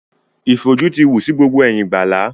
Ìfòjú ti wù sí gbogbo ẹ̀yìn gbàlá.